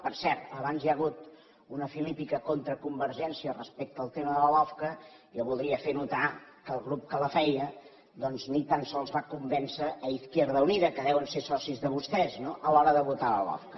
per cert abans hi ha hagut una filípica contra convergència respecte al tema de la lofca jo voldria fer notar que el grup que la feia doncs ni tan sols va convèncer izquierda unida que deuen ser socis de vostès no a l’hora de votar la lofca